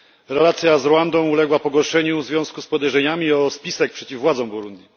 Relacja z Rwandą uległa pogorszeniu w związku z podejrzeniami o spisek przeciw władzom Burundi.